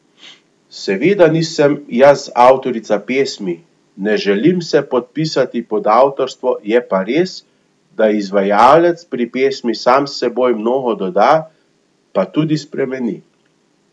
Seveda nisem jaz avtorica pesmi, ne želim se podpisati pod avtorstvo, je pa res, da izvajalec pri pesmi sam s seboj mnogo doda, pa tudi spremeni.